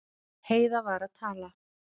Heiða var að tala.